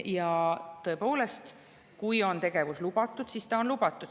Ja tõepoolest, kui tegevus on lubatud, siis ta on lubatud.